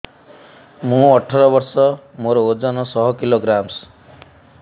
ମୁଁ ଅଠର ବର୍ଷ ମୋର ଓଜନ ଶହ କିଲୋଗ୍ରାମସ